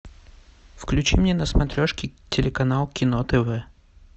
включи мне на смотрешке телеканал кино тв